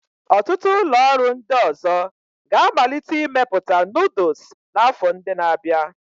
Ọtụtụ ụlọ ọrụ ndị ọzọ ga-amalite imepụta noodles n'afọ ndị na-abịa.